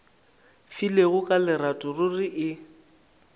filego ka lerato ruri e